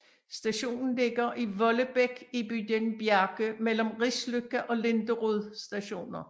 Stationen ligger i Vollebekk i bydelen Bjerke mellem Risløkka og Linderud Stationer